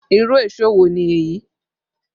Irú èṣó wo ni èyí?